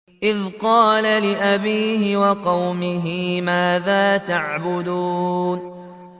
إِذْ قَالَ لِأَبِيهِ وَقَوْمِهِ مَاذَا تَعْبُدُونَ